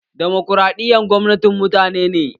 Demokraɗiyya gwamnatin mutane ne.